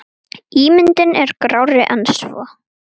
Ímyndin er grárri en svo.